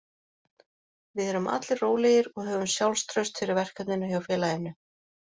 Við erum allir rólegir og höfum sjálfstraust fyrir verkefninu hjá félaginu.